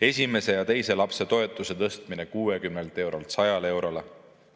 Esimese ja teise lapse toetuse tõstmine 60 eurolt 100 eurole.